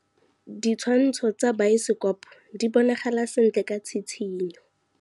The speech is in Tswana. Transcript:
Ditshwantshô tsa biosekopo di bonagala sentle ka tshitshinyô.